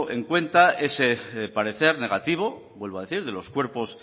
en cuenta ese parecer negativo vuelvo a decir de los cuerpos